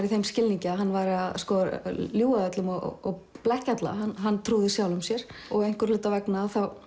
í þeim skilningi að hann væri að ljúga að öllum og blekkja alla hann trúði sjálfum sér og einhverra hluta vegna þá